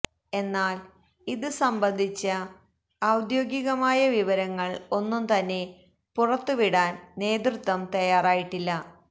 എന്നാല് ഇത് സംബന്ധിച്ച ഔദ്യോഗികമായ വിവരങ്ങള് ഒന്നും തന്നെ പുറത്ത് വിടാന് നേതൃത്വം തയ്യാറായിട്ടില്ല